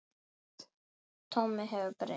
Tommi hefur breyst.